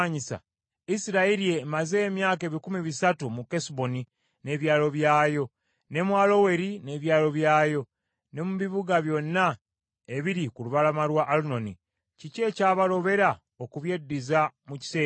Isirayiri emaze emyaka ebikumi bisatu mu Kesuboni n’ebyalo byayo, ne mu Aloweri n’ebyalo byayo, ne mu bibuga byonna ebiri ku lubalama lwa Alunoni. Kiki ekyabalobera okubyeddiza mu kiseera ekyo?